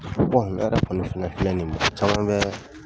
ne yɛrɛ kɔni fana filɛ nin ye maa caman bɛ